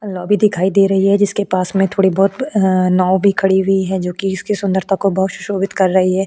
Lobby दिखाई दे रही है जिसके पास में थोड़ी बहुत नाव भी खड़ी हुई है जो कि इसकी सुंदरता को बहुत सुशोभित कर रही है।